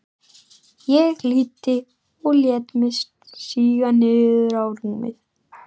Ég hlýddi og lét mig síga niður á rúmið.